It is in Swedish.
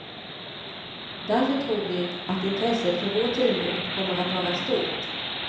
Därför tror vi att intresset för vår tidning kommer att vara stort.